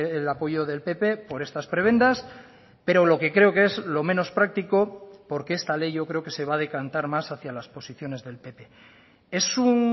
el apoyo del pp por estas prebendas pero lo que creo que es lo menos práctico porque esta ley yo creo que se va a decantar más hacia las posiciones del pp es un